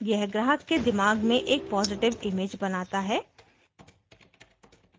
यह ग्राहक के दिमाग में एक पॉजिटिव इमेज बनाता है